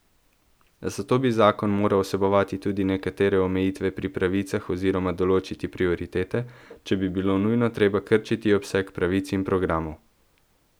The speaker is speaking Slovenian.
Zato bi zakon moral vsebovati tudi nekatere omejitve pri pravicah oziroma določiti prioritete, če bi bilo nujno treba krčiti obseg pravic in programov.